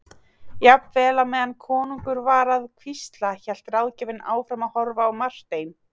Jafnvel á meðan konungur var að hvísla hélt ráðgjafinn áfram að horfa á Martein.